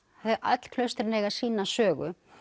öll klaustrin eiga sína sögu